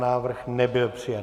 Návrh nebyl přijat.